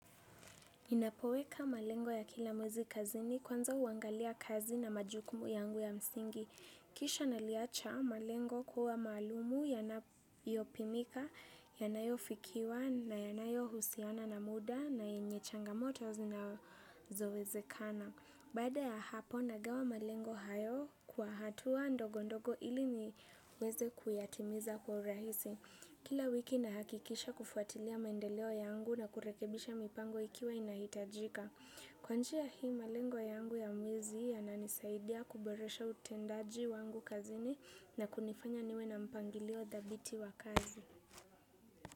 Ninapoweka malengo ya kila mwezi kazini kwanza huangalia kazi na majukumu yangu ya msingi. Kisha naliacha malengo kuwa maalumu yanayopimika, yanayofikiwa na yanayohusiana na muda na yenye changamoto zinazowezekana. Baada ya hapo nagawa malengo hayo kwa hatua ndogo ndogo ili niweze kuyatimiza kwa rahisi. Kila wiki nahakikisha kufuatilia maendeleo yangu na kurekebisha mipango ikiwa inahitajika. Kwa njia hii malengo yangu ya mwezi yananisaidia kuboresha utendaji wangu kazini na kunifanya niwe na mpangilio dhabiti wa kazi.